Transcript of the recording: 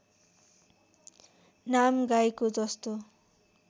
नाम गाईको जस्तो